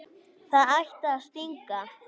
Það ætti að stinga.